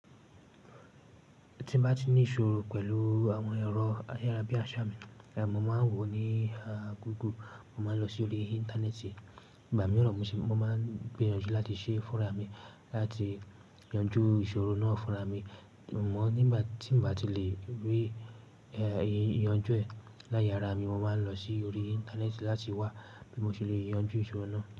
Tí n bá ti ní ìṣòro pẹ̀lú àwọn ẹ̀rọ ayarabiaṣa, mo máa ń wò ó ní Google. Mo máa ń lọ sórí Íńtánẹ́ẹ̀tì, igbà mí ran m ṣi, mo máa ń gbìyànjú láti ṣe fúnra mi láti yanjú ìṣòro náà fúnra mi. Amọ nígbà tí n bá ti lè rí ìyànjú ẹ̀ láyé ara mi, mo máa ń lọ sórí Íńtánẹ́ẹ̀tì láti wá bí mo ṣe le yanjú ìṣòro náà.